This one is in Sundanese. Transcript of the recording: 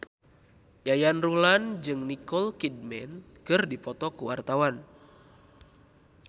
Yayan Ruhlan jeung Nicole Kidman keur dipoto ku wartawan